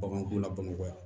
Baganko la bamakɔ yan